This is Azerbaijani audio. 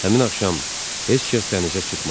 Həmin axşam heç kəs dənizə çıxmadı.